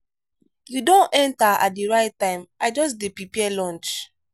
you don enter at the right time i just dey prepare lunch.